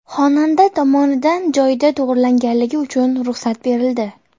Xonanda tomonidan joyida to‘g‘rilanganligi uchun ruxsat berildi.